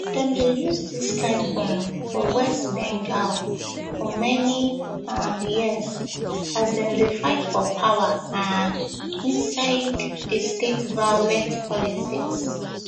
dem dey use dis kain bomb for west bengal for many um years as dem dey fight for power um inside di state violent politics